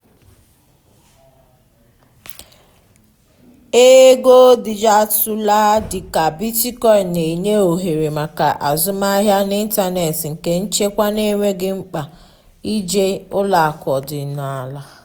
ego dijitalụ dị ka bitcoin na-enye ohere maka azụmahịa n’ịntanetị nke nchekwa n’enweghị mkpa ije ụlọ akụ ọdịnala.